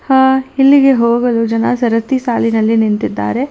ಆ ಇಲ್ಲಿಗೆ ಹೋಗಲು ಜನ ಸರತಿ ಸಾಲಿನಲ್ಲಿ ನಿಂತಿದ್ದಾರೆ.